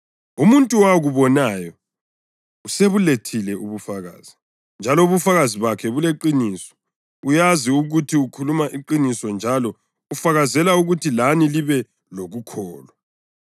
Umuntu owakubonayo usebulethile ubufakazi, njalo ubufakazi bakhe buliqiniso. Uyazi ukuthi ukhuluma iqiniso njalo ufakazela ukuthi lani libe lokukholwa.